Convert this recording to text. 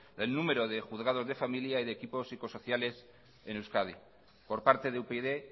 del número de juzgados de familia y de equipos psicosociales en euskadi por parte de upyd